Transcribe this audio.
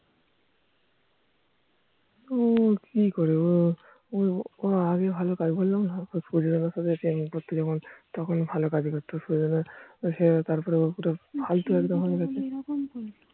ও কি করবে ও আগে ভালো কাজ বললাম না, সুজয় দাদার সাথে Training করতো যখন তখন ভালো কাজ করতো, তারপরে ও পুরো ফালতু একদম হয় গিয়েছে